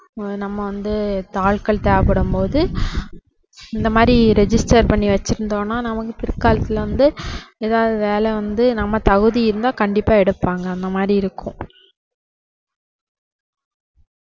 ஆஹ் நம்ம வந்து இப்போ ஆட்கள் தேவைப்படும் போது இந்த மாதிரி register பண்ணி வச்சிருந்தோம்னா நமக்கு பிற்காலத்துல வந்து ஏதாவது வேலை வந்து நம்ம தகுதி இருந்தா கண்டிப்பா எடுப்பாங்க அந்த மாதிரி இருக்கும்.